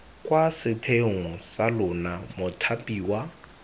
kwa setheong sa lona mothapiwa